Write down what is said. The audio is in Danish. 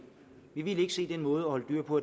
vi vil ikke se den måde at holde dyr på